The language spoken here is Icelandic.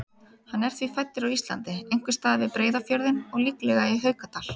Hann er því fæddur á Íslandi, einhvers staðar við Breiðafjörðinn og líklega í Haukadal.